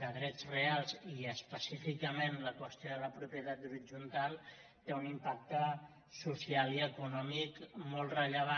de drets reals i específicament la qüestió de la propietat horitzontal té un impacte social i econòmic molt rellevant